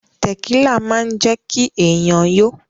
Tẹ̀kílà máa ń jẹ́kí èèyàn yó